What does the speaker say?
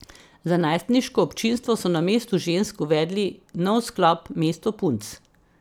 Za najstniško občinstvo so na Mestu žensk uvedli nov sklop Mesto punc.